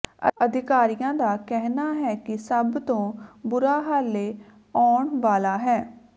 ਅਧਿਕਾਰੀਆਂ ਦਾ ਕਹਿਣਾ ਹੈ ਕਿ ਸਭ ਤੋਂ ਬੁਰਾ ਹਾਲੇ ਆਉਣ ਵਾਲਾ ਹੈ